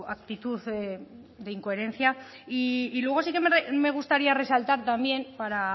actitud de incoherencia y luego sí que me gustaría resaltar también para